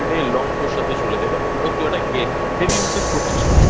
যেটা তোর Already long তোর সাথে চলে যাবে Because তুই একটা Heavy Usage করছিস না